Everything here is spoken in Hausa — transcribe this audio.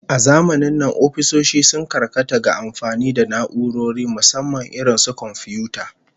A zamanin nan ofisoshi sun karkata ga amfani da na'urori, musamman irin su komfiyuta